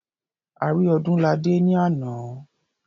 A rí Ọdúnladé ní àná.